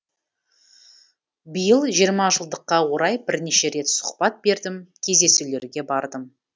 биыл жиырма жылдыққа орай бірнеше рет сұхбат бердім кездесулерге бардым